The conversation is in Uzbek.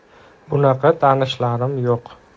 Bunaqa tanishlarim yo‘q.